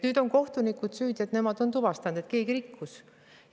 Nüüd on kohtunikud süüdi, et nemad on tuvastanud, et keegi rikkus.